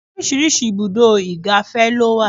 Oríṣiríṣi ibùdó igàfẹ́ ló wà.